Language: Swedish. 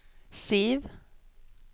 Siv